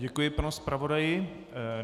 Děkuji panu zpravodaji.